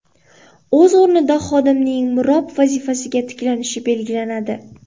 O‘z o‘rnida xodimning mirob vazifasiga tiklanishi belgilanadi.